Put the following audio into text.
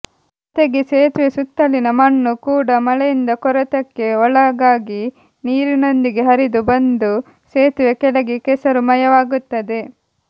ಜತೆಗೆ ಸೇತುವೆ ಸುತ್ತಲಿನ ಮಣ್ಣು ಕೂಡ ಮಳೆಯಿಂದ ಕೊರೆತಕ್ಕೆ ಒಳಗಾಗಿ ನೀರಿನೊಂದಿಗೆ ಹರಿದು ಬಂದು ಸೇತುವೆ ಕೆಳಗೆ ಕೆಸರು ಮಯವಾಗುತ್ತದೆ